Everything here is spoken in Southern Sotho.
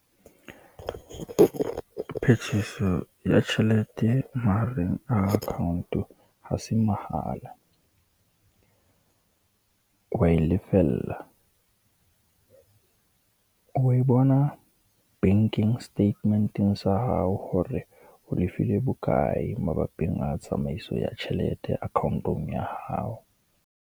Phetiso ya tjhelete mahareng account-o, ha se mohala. O wa e lefella, o e bona banking statement-eng sa hao hore o lefile bokae mabapi a tsamaiso ya tjhelete account-ong ya hao.